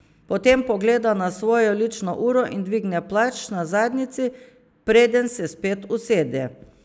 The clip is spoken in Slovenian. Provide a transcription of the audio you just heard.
Potem pogleda na svojo lično uro in dvigne plašč na zadnjici, preden se spet usede.